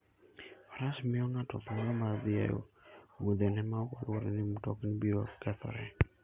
Faras miyo ng'ato thuolo mar dhi e wuodhene maok oluor ni mtokni biro kethore.